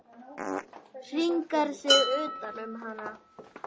Hringar sig utan um hana.